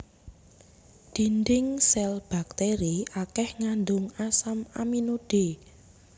Dhindhing sèl bakteri akèh ngandung asam amino d